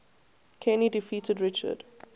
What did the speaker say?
kenny defeated richard